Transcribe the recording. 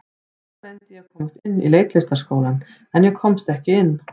Seinna reyndi ég að komast inn í Leiklistarskólann, en ég komst ekki inn.